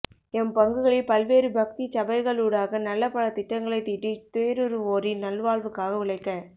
M பங்குகளில் பல்வேறு பக்திச் சபைகளூடாக நல்ல பல திட்டங்களைத் தீட்டித் துயறுருவோரின் நல்வாழ்வுக்காக உழைக்க